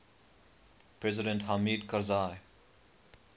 president hamid karzai